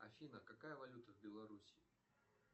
афина какая валюта в белоруссии